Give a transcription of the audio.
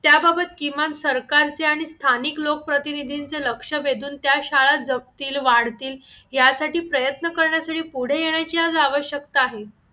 त्याबाबत किमान सरकारच्या आणि स्थानिक लोकप्रतिनिधींचे लक्ष वेधून त्या शाळा जपतील वाढतील यासाठी प्रयत्न करण्यासाठी पुढे येण्याची आज आवश्यकता आहे